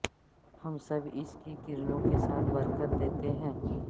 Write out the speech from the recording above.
ہم سب اس کی کرنوں کے ساتھ برکت دیتے ہیں